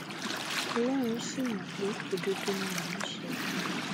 ọlọrun sì mọ pé òdodo ni mò ń sọ